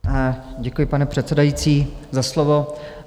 Děkuji, pane předsedající, za slovo.